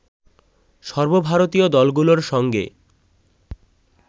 সর্বভারতীয় দলগুলোর সঙ্গে